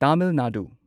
Tamil Nadu